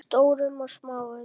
Stórum og smáum.